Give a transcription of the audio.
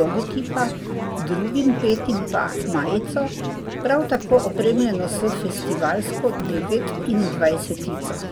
logotipa, drugim petim pa majico, prav tako opremljeno s festivalsko devetindvajsetico.